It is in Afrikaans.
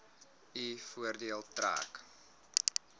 u voordeel trek